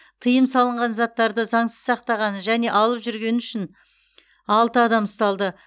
тыйым салынған заттарды заңсыз сақтағаны және алып жүргені үшін алты адам ұсталды